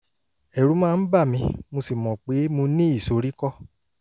ẹ̀rù máa ń bà mí mo sì mọ̀ pé mo ní ìsoríkọ́